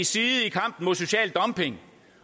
side i kampen mod social dumping